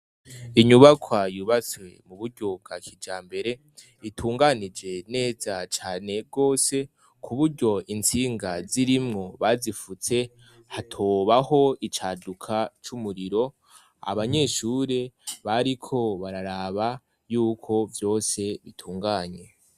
Inyubakwa yubatswe mu buryo bwa kijambere. Itunganije neza cane gose, ku buryo intsinga zirimwo bazifutse, hatobaho icaduka c'umuriro. Abanyeshure bariko bararaba y'uko vyose bitunganye.